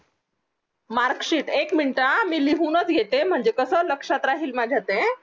marksheet एक मिनटं हां मी लिहूनच घेते म्हणजे कसं लक्षात राहील माझ्या ते